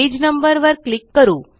page number वर click करू